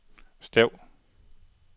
stav